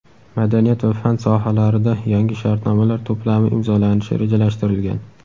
madaniyat va fan sohalarida yangi shartnomalar to‘plami imzolanishi rejalashtirilgan.